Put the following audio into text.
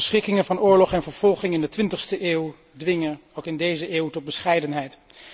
De verschrikkingen van oorlog en vervolging in de 20ste eeuw dwingen ook in deze eeuw tot bescheidenheid.